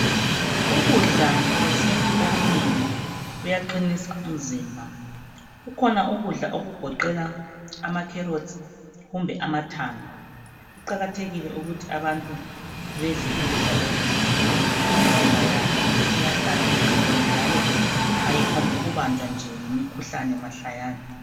Ukudla kwesintu okunengi kuyaqinisa umzimba. Kukhona ukudla okugoqela ama carrots kumbe amathanga Kuqakathile ukuthi abantu bedle ukudla lokhu. Imizimba yabo iyahlala iqinile njalo ayiphongu kubanjwa ngumkhuhlane mahlayana